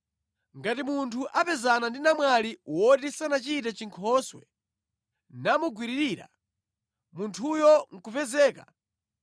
Ngati munthu apezana ndi namwali woti sanachite chinkhoswe, namugwiririra, munthuyo nʼkupezeka,